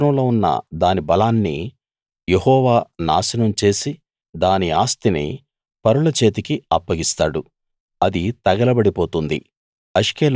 సముద్రంలో ఉన్న దాని బలాన్ని యెహోవా నాశనం చేసి దాని ఆస్తిని పరుల చేతికి అప్పగిస్తాడు అది తగలబడి పోతుంది